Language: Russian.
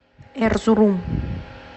эрзурум